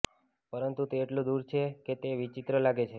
પરંતુ તે એટલું દૂર છે કે તે વિચિત્ર લાગે છે